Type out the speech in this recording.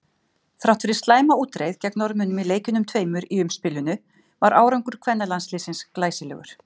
Þrátt fyrir slæma útreið gegn Norðmönnum í leikjunum tveimur í umspilinu var árangur kvennalandsliðsins glæsilegur.